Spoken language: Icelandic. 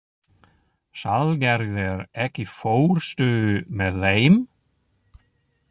Salgerður, ekki fórstu með þeim?